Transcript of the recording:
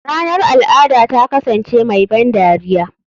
Ranar al'ada ta kasance mai ban dariya.